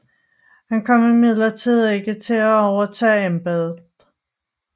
Han kom imidlertid ikke til at overtage embedet